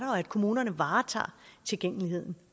og at kommunerne varetager tilgængeligheden